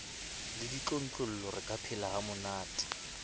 le ditlontlollo re ka phelahamonate